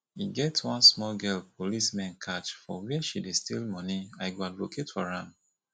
e get one small girl police men catch for where she dey steal money i go advocate for am